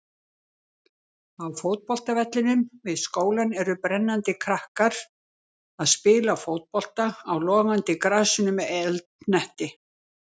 Á fótboltavellinum við skólann eru brennandi krakkar að spila fótbolta á logandi grasinu með eldhnetti.